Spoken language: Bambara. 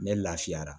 Ne lafiyara